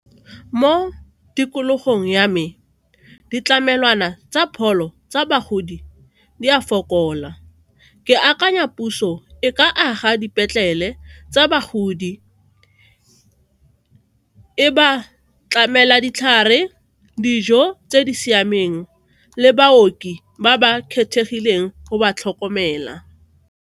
Mo tikologong ya me, ditlamelwana tsa pholo tsa bagodi di a fokola, ke akanya puso e ka aga dipetlele tsa bagodi, e ba tlamela ditlhare dijo tse di siameng le baoki ba ba kgethegileng go ba tlhokomela.